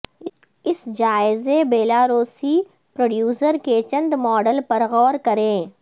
اس جائزے بیلاروسی پروڈیوسر کے چند ماڈل پر غور کریں